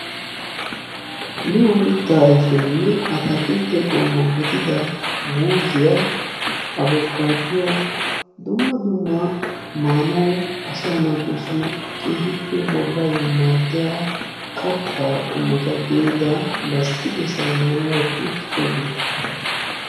miyo mitta ayfenne atakiltte gidida muuzziya abukaaduwa dumma dumma asa naatussi keehippe bollayo maaddiya katta qommota gidia lasttiq saynniyaa wotti uttidoogeeta.